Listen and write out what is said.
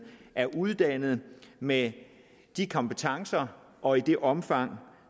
er uddannet med de kompetencer og i det omfang